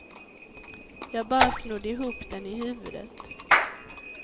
Jag bara snodde ihop den i huvudet.